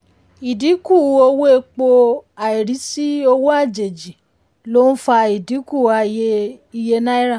ìdínkù owó epo àìrísí owó àjèjì ló ń fa idinku iye náírà.